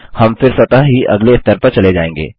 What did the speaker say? हम फिर स्वतः ही अगले स्तर पर चले जाएँगे